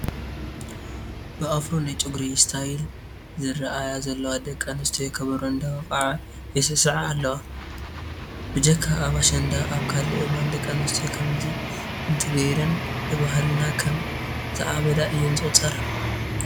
ብኣፍሮ ናይ ጨጉሪ ስታይል ዝርአያ ዘለዋ ደቂ ኣንስትዮ ከበሮ እንዳወቅዓ ይስዕስዓ ኣለዋ ፡፡ ብጀካ ኣብ ኣሸንዳ ኣብ ካልእ እዋን ደቂ ኣንስትዮ ከምዚ እንተገይረን ብባህልና ከም ዝዓበዳ እየን ዝቑፀራ፡፡